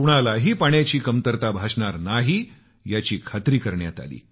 कुणालाही पाण्याची कमतरता भासणार नाही याची निश्चिती करण्यात आली